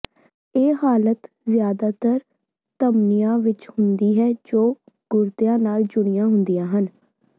ਇਹ ਹਾਲਤ ਜਿਆਦਾਤਰ ਧਮਨੀਆਂ ਵਿਚ ਹੁੰਦੀ ਹੈ ਜੋ ਗੁਰਦਿਆਂ ਨਾਲ ਜੁੜੀਆਂ ਹੁੰਦੀਆਂ ਹਨ